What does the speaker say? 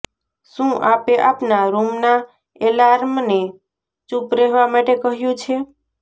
શું આપે આપના રૂમના એલાર્મને ચુપ રહેવા માટે કહ્યું છે